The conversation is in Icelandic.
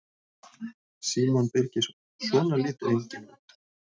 Símon Birgisson: Svona lítur enginn út?